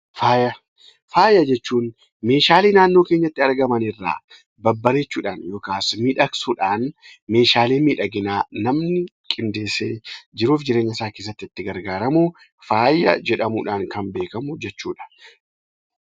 Faaya: Faaya jechuun meeshaalee naannoo kèenyatti argaman irraa babbareechuudhaan yookaan miidhagsuudhaan meeshaalee miidhaginaa namni qindeessee jiruuf jireenya isaa keessatti itti fayyadamu faaya jedhamuudhaan kan beekamu jechuudha.